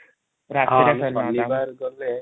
ଗଲେ |